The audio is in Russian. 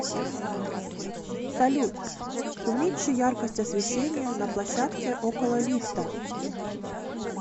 салют уменьши яркость освещения на площадке около лифта